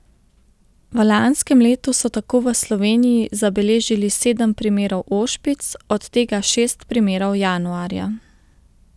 V lanskem letu so tako v Sloveniji zabeležili sedem primerov ošpic, od tega šest primerov januarja.